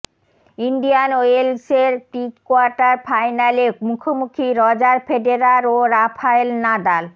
Indian ওয়েলসের prequarter ফাইনালে মুখোমুখি রজার ফেডেরার ও রাফায়েল নাদাল